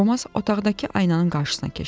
Romas otaqdakı aynanın qarşısına keçdi.